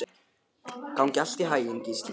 Gangi þér allt í haginn, Gíslína.